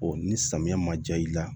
ni samiya ma ja i la